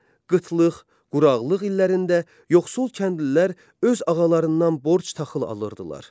Qıtlıq, quraqlıq illərində yoxsul kəndlilər öz ağalarından borc taxıl alırdılar.